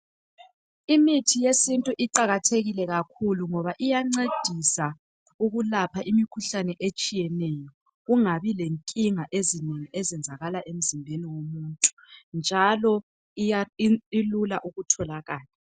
Imithi yesintu iqakathekile kakhulu ngoba iyancedisa ukulapha imikhuhlane etshiyeneyo kungabi lenkinga ezinengi ezenzakala emzimbeni womuntu njalo ilula ukutholakala.